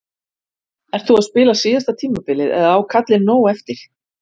Ert þú að spila síðasta tímabilið eða á kallinn nóg eftir?